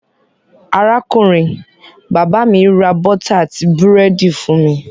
Arákùnrin-bàbá mi ra bọ́t àti búrẹ́dì fún mi.